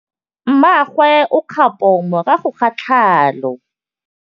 Mmagwe o kgapô morago ga tlhalô.